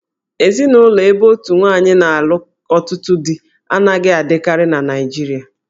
Ezinụlọ ebe otu nwaanyị na-alụ ọtụtụ dí anaghị adịkarị na Naịjirịa